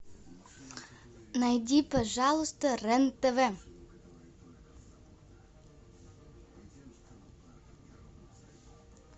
найди пожалуйста рен тв